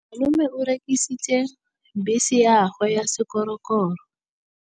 Malome o rekisitse bese ya gagwe ya sekgorokgoro.